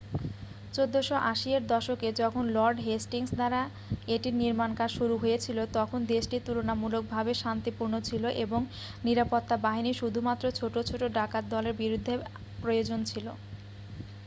1480 এর দশকে যখন লর্ড হেস্টিংস দ্বারা এটির নির্মাণকাজ শুরু হয়েছিল তখন দেশটি তুলনামূলকভাবে শান্তিপূর্ণ ছিল এবং নিরাপত্তা বাহিনী শুধুমাত্র ছোট ছোট ডাকাতদলের বিরুদ্ধে প্রয়োজন ছিল